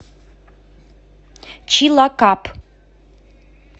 чилакап